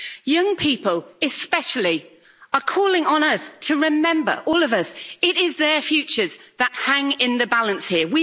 Young people, especially, are calling on us to remember all of us that it is their futures that hang in the balance here.